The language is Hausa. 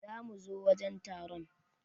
Za mu zo wajen taron.